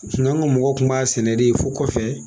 anw ka mɔgɔw tun b'a sɛnɛ de fo kɔfɛ